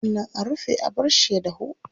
Sannan a rufe a barshi ya dahu.